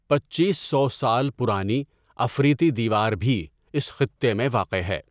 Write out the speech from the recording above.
پنچیس سو سال پرانی عفریتی دیوار بھی اس خطے میں واقع ہے۔